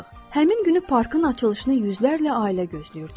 Həmin günü parkın açılışını yüzlərlə ailə gözləyirdi.